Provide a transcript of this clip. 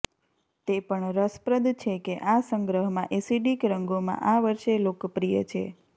તે પણ રસપ્રદ છે કે આ સંગ્રહમાં એસિડિક રંગોમાં આ વર્ષે લોકપ્રિય છે